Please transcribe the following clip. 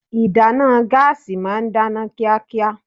Ìdáná gáàsì ma ń dáná kíákíá.